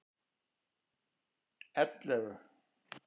ellefu